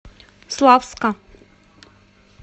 славска